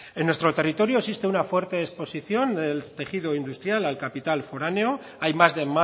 en nuestro territorio existe una fuerte exposición del tejido industrial al capital foráneo hay más de